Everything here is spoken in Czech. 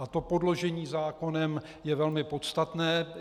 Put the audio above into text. A to podložení zákonem je velmi podstatné.